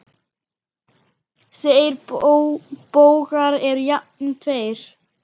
Þeir bógar eru jafnan tveir.